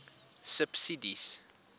subsidies